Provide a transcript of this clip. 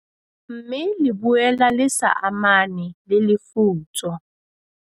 Mme le boela le sa amane le lefutso."